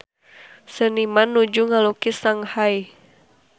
Seniman nuju ngalukis Shanghai